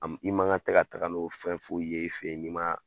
A ma i man kɛ ka taga n'o fɛn foyi ye i fe yen, n'i ma